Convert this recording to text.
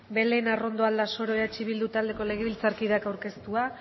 belén arrondo aldasoro eh bildu taldeko legebiltzarkideak aurkeztua